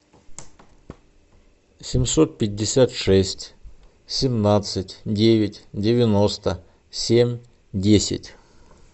семьсот пятьдесят шесть семнадцать девять девяносто семь десять